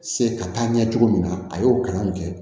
Se ka taa ɲɛ cogo min na a y'o kalan kɛ